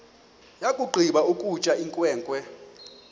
yakugqiba ukutya inkwenkwe